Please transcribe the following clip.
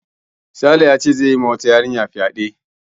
Sale yace zai yi ma wata yarinya fyaɗe